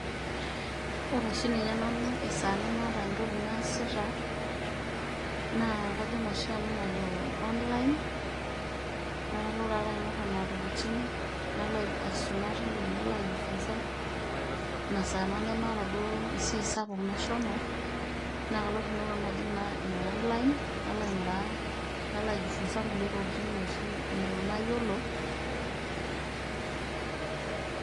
Oore oshi ninye nanu esaa nemaata entoki naasita naa kajing' oshi eena najo online nalo taa aata aing'or nena tokitin nalo aisuma teine nalo aijifunza, iina saa nemaata duo esiai sapuk nashomo, naa kalo ooshi nanu ajing' naa iina online nalo aing'uraa, nalo aijifunza kulie tokitin ooshi neton mayiolo silence.